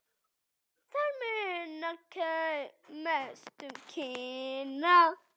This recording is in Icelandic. Þar munar mest um Kína.